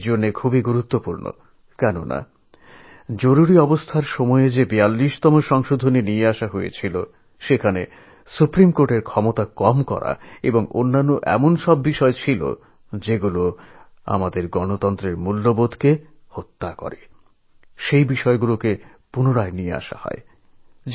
ঘটনাটা এই কারণেই খুব গুরুত্বপূর্ণ কারণ জরুরী অবস্থার জন্য ৪২তম সংশোধনের প্রস্তাব করা হয় যেখানে সুপ্রিম কোর্টের ক্ষমতাকে খর্ব করার এবং আরও কিছু প্রস্তাবও সেখানে ছিল যাতে আমাদের গণতান্ত্রিক মূল্যবোধও খর্ব হত সেগুলি কার্যকরী না করে ফেরৎ পাঠানো হয়